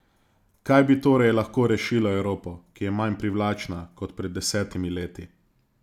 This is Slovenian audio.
Kaj bi torej lahko rešilo Evropo, ki je manj privlačna kot pred desetimi leti?